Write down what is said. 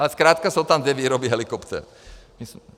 Ale zkrátka jsou tam dvě výroby helikoptér.